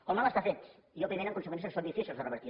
el mal està fet i òbviament amb conseqüències que són difícils de revertir